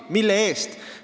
Mille eest?